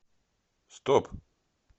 стоп